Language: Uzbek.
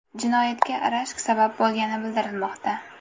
Jinoyatga rashk sabab bo‘lgani bildirilmoqda.